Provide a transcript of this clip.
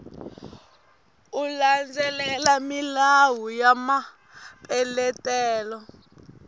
u landzelela milawu ya mapeletelo